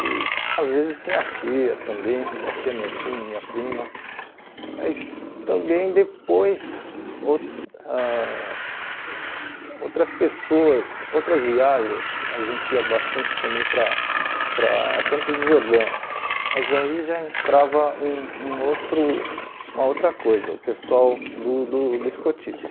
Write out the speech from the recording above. e às vezes minha tia também, minha tia, meu tio, minha prima, mas também depois ou ãh outras pessoas, outras viagens, a gente ia bastante também para para Campos de Jordão, mas aí já entrava um um outro uma outra coisa, o pessoal do do do escotismo.